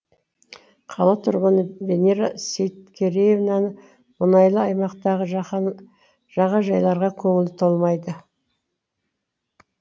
қала тұрғыны венера сейткереевнаны мұнайлы аймақтағы жағажайларға көңілі толмайды